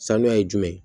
Sanuya ye jumɛn ye